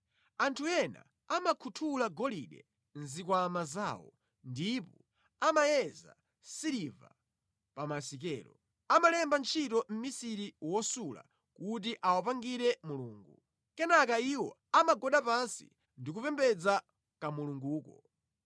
Anthu ena amakhuthula golide mʼzikwama zawo ndipo amayeza siliva pa masikelo; amalemba ntchito mʼmisiri wosula kuti awapangire mulungu, kenaka iwo amagwada pansi ndikupembedza kamulunguko.